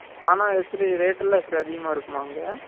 ஆனா எப்டி rate லாம் எப்டி அதிகமா இருக்குமா அங்க